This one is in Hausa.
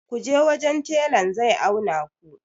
ku je wajen telan zai auna ku!